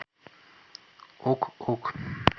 ок ок